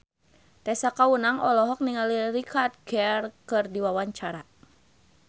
Tessa Kaunang olohok ningali Richard Gere keur diwawancara